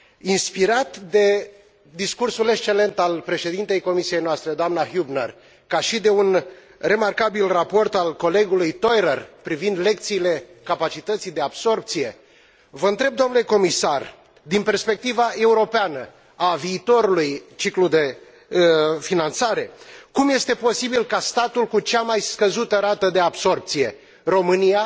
Inspirat de discursul excelent al președintei comisiei noastre, doamna Hübner, ca și de un remarcabil raport al colegului Theurer privind lecțiile capacității de absorbție, vă întreb, domnule comisar, din perspectiva europeană a viitorului ciclu de finanțare, cum este posibil ca statul cu cea mai scăzută rată de absorbție, România,